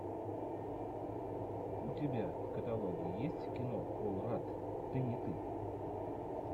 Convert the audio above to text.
у тебя в каталоге есть кино пол радд ты не ты